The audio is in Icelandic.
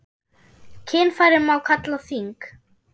Kynfæri má kalla þing.